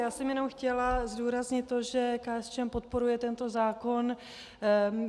Já jsem jenom chtěla zdůraznit to, že KSČM podporuje tento zákon.